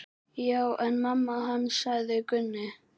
Já, en mamma hans. sagði Gunni.